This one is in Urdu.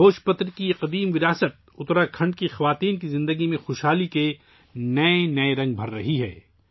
بھوج پتر کا یہ قدیم ورثہ اتراکھنڈ کی خواتین کی زندگیوں میں خوشیوں کے نئے رنگ بھر رہا ہے